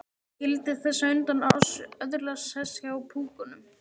Skyldi þessi á undan oss öðlast sess hjá púkunum?